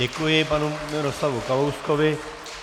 Děkuji panu Miroslavu Kalouskovi.